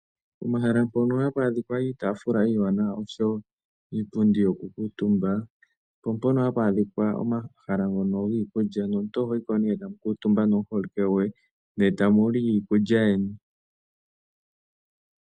Pomahala mpono hapu adhika iitaafula iiwanawa oshowo iipundi yokukuutumba, opo mpono hapu adhika omahala ngono giikulya nomuntu ohoyi ko nee tamu kuutumba nomuholike goye ne tamu li iikulya yeni.